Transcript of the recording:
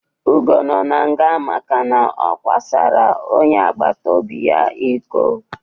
Ugo no n'nga makana ọ kwasara onye agbatobi ya ịkọ